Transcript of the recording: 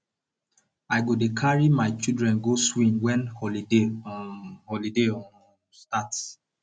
i go dey carry my children go swim wen holiday um holiday um start